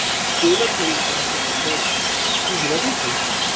O‘ylab ko‘ring, aziz zamondosh... Siz nima deysiz?